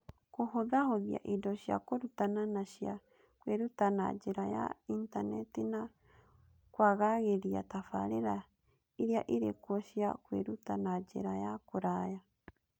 Kũhũthahũthia indo cia kũrutana na cia kwĩruta na njĩra ya Intaneti, na kwagagĩria tabarĩra iria irĩ kuo cia kwĩruta na njĩra ya kũraya